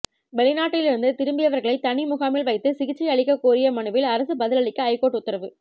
வெளிநாட்டிலிருந்து திரும்பியவர்களை தனி முகாமில் வைத்து சிகிச்சை அளிக்க கோரிய மனுவில் அரசு பதிலளிக்க ஐகோர்ட் உத்தரவு